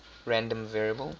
random variable